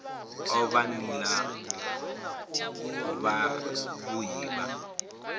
o vha nila yavhui ya